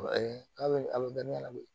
k'a bɛ a bɛ bɛn ne ɲɛna koyi